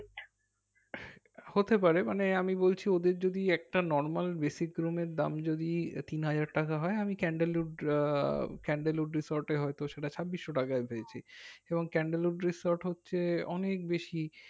হতে পারে মানে আমি বলছি ওদের যদি একটা normal basic room এর দাম যদি তিন হাজার টাকা হয় আমি ক্যান্ডল উড আহ resort এ হয়তো সেইটা ছাব্বিশসো টাকায় পেয়েছি এবং ক্যান্ডল উড resort হচ্ছে অনেক বেশি